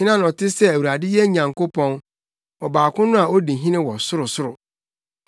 Hena na ɔte sɛ Awurade yɛn Nyankopɔn, Ɔbaako no a odi hene wɔ ɔsorosoro,